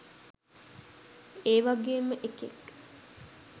ඒ වගේම එකෙක්.